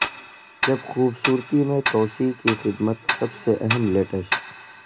جب خوبصورتی میں توسیع کی خدمت سب سے اہم لیٹش